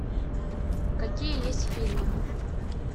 какие есть фильмы